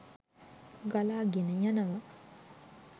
ගලා ගෙන යනවා